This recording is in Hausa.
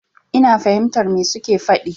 Ina fahimtar me su ke faɗi.